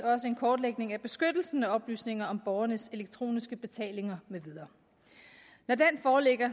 også en kortlægning af beskyttelsen af oplysninger om borgernes elektroniske betalinger med videre når den foreligger